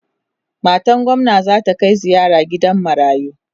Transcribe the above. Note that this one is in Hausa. matan gwamna zata Kai ziyara gidan marayu